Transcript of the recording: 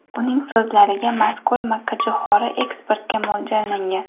Uning so‘zlariga mazkur makkajo‘xori eksportga mo‘ljallangan.